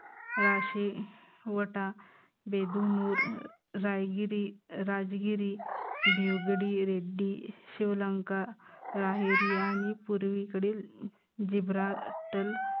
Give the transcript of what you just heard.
राशी, वटा, बेदूनूर, रायगिरी, राजगिरी, बिवगडी रेड्डी, शिव लंका, राहेरी आणि पूर्वीकडील झीब्राटल